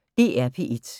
DR P1